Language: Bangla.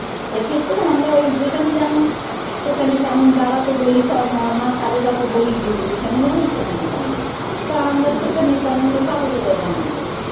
সেক্ষেত্রে আমরা ওই যেখানে যেমন সেখানে তেমন বাবা তো বলেই মা স্বাগতা তো বলেই দিয়েছে যেখানে যেমন সেখানে তেমন তা আমরা সেখানে তেমন পাব কোথায় গঙ্গার জল